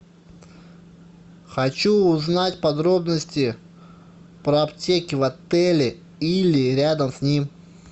хочу узнать подробности про аптеки в отеле или рядом с ним